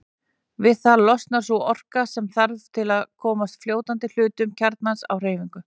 Við það losnar sú orka sem þarf til að koma fljótandi hluta kjarnans á hreyfingu.